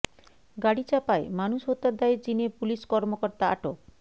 গাড়ি চাপায় মানুষ হত্যার দায়ে চীনে পুলিশ কর্মকর্তা আটক